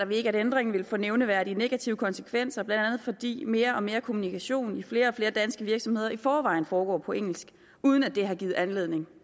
vi ikke at ændringen vil få nævneværdige negative konsekvenser blandt andet fordi mere og mere kommunikation i flere og flere danske virksomheder i forvejen foregår på engelsk uden at det har givet anledning